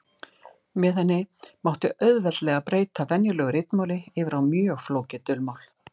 Með henni mátti auðveldlega breyta venjulegu ritmáli yfir á mjög flókið dulmál.